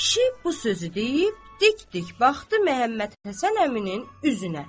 Kişi bu sözü deyib, dik-dik baxdı Məhəmmədhəsən əminin üzünə.